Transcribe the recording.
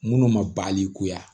Minnu ma balikuya